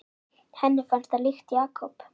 Henni fannst það líkt Jakob.